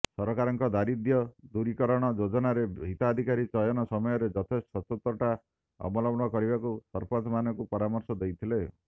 ସରକାରଙ୍କ ଦାରିଦ୍ୟଦୂରିକରଣ ଯୋଜନାର ହିତାଧିକାରୀ ଚୟନ ସମୟରେ ଯଥେଷ୍ଟ ସଚ୍ଚୋଟତା ଅବଲମ୍ବନ କରିବାକୁ ସରପଂଚମାନଙ୍କୁ ପରାମର୍ଶ ଦେଇଥିଲେ